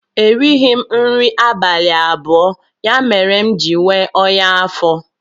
erighị m nri abalị abụọ, ya mere m ji nwee ọnya afọ